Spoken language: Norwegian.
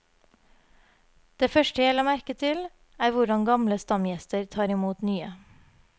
Det første jeg la merke til, er hvordan gamle stamgjester tar imot nye.